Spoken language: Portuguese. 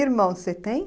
Irmão, você tem?